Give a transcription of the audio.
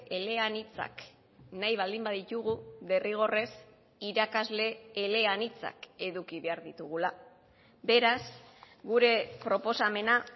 eleanitzak nahi baldin baditugu derrigorrez irakasle eleanitzak eduki behar ditugula beraz gure proposamena